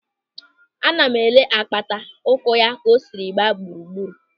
Ana m ele apata ụkwụ ka o siri gbaa gburugburu.